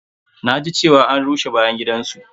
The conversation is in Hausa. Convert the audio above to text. Na ji cewa an rusa bayan gidan su.